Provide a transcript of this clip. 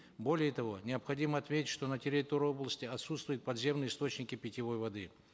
более того необходимо отметить что на территории области отсутствуют подземные источники питьевой воды